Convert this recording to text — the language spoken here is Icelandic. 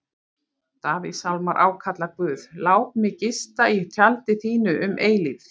Davíðssálmar ákalla Guð: Lát mig gista í tjaldi þínu um eilífð.